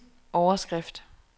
overskrift